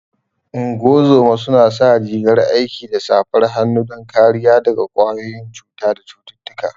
Ungozoma su na sa rigar aiki da safar hannu don kariya daga ƙwayoyin cuta da cututtuka